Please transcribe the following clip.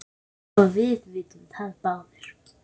og við vitum það báðir.